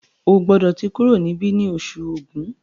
O gbódò tí kúrò nibi ní Oṣù Ògún!